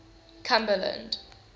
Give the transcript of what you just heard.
cumberland